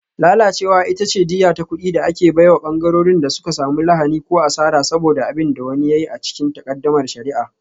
Lalacewa ita ce diyya ta kuɗi da ake bai wa ɓangarorin da suka samu lahani ko asara saboda abin da wani ya yi a cikin takaddamar shari'a.